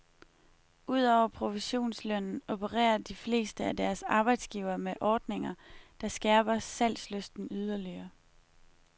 Udover provisionslønnen opererer de fleste af deres arbejdsgivere med ordninger, der skærper salgslysten yderligere.